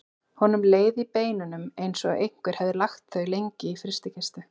Honum leið í beinunum eins og einhver hefði lagt þau lengi í frystikistu.